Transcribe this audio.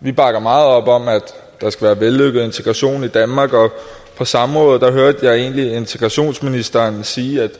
vi bakker meget op om at der skal være vellykket integration i danmark og på samrådet hørte jeg egentlig integrationsministeren sige at